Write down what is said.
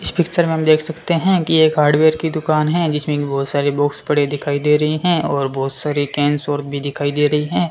इस पिक्चर में हम देख सकते है कि एक हार्डवेयर की दुकान है जिसमें अभी बहोत सारे बॉक्स पड़े दिखाई दे रही है और बहोत सारी टेंस और भी दिखाई दे रही है।